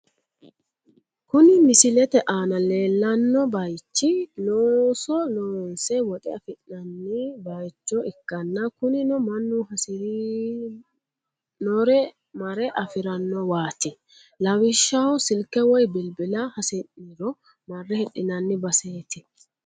Kuni misilete aana leellanno bayichi looso loonse woxe afi'nanni bayicho ikkanna, kunino mannu hasi'rinore mare afi'rannowaati, lawishshaho silke woy bilbila hasi'niro marre hidhinanni baseeti.